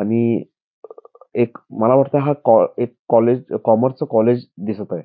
आणि एक मला वाटत हा एक कॉमर्स चा कॉलेज दिसत आहे.